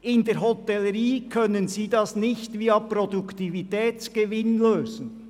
In der Hotellerie können Sie das nicht via Produktivitätsgewinn lösen.